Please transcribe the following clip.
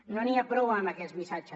no n’hi ha prou amb aquest missatge